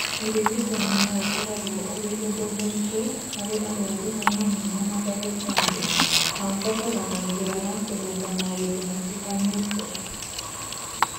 Ũrigitani no ũkoragwo ũrĩ ũndũ mũritũ harĩ arwaru o hamwe na mandagĩtarĩ, na ũbataraga njĩra ya kũrũnga maũndũ matiganĩte.